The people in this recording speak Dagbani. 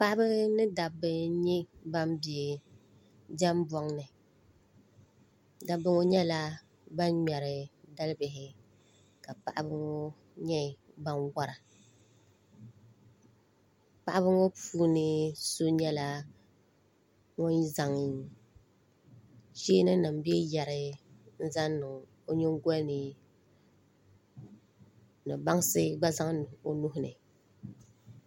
Paɣaba ni dabba n nyɛ ban bɛ diɛm boŋni dabba ŋo nyɛla ban ŋmɛri dalibihi ka paɣaba ŋo nyɛ ban wora paɣaba puuni so nyɛla ŋun zaŋ cheeni nim bee yɛri n zaŋ niŋ o nyingoli ni ni bansi gba zaŋ niŋ o nuhuni